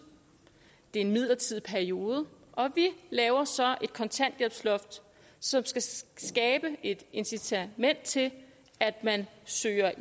det er en midlertidig periode og vi laver så et kontanthjælpsloft som skal skabe et incitament til at man søger